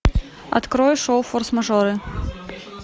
открой шоу форс мажоры